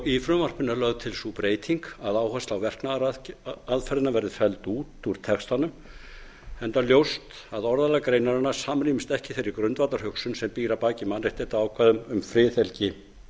í frumvarpinu er lögð til sú breyting að áhersla á verknaðaraðferðina verði felld út úr textanum enda ljóst að orðalag greinarinnar samrýmist ekki þeirri grundvallarhugsun sem býr að baki mannréttindaákvæðum um friðhelgi